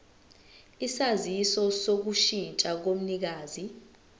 isaziso sokushintsha komnikazi